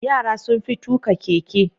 Yara sun fi tuka keke.